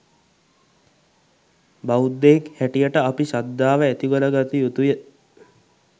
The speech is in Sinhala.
බෞධයෙක් හැටියට අපි ශද්ධාව ඇතිකරගත යුතුය.